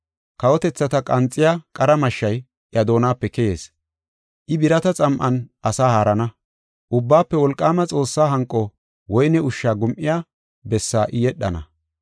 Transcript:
Kawotethata qanxiya qara mashshay iya doonape keyees. I birata xam7an asaa haarana. Ubbaafe Wolqaama Xoossaa hanqo woyne ushsha gum7iya bessaa I yedhana.